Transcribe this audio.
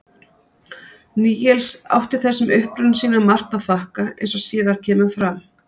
níels átti þessum uppruna sínum margt að þakka eins og síðar kemur fram